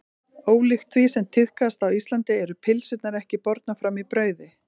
Ólíkt því sem tíðkast á Íslandi eru pylsurnar ekki bornar fram í brauði.